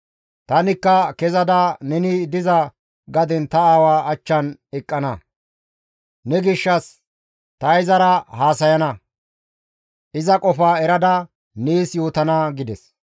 Tanikka kezada neni diza gaden ta aawa achchan eqqana; ne gishshas ta izara haasayana; iza qofaa erada nees yootana» gides.